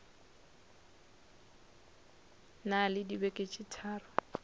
na le dibeke tše tharo